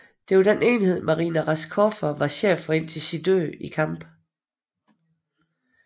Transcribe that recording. Det var den enhed Marina Raskova var chef for indtil sin død i kamp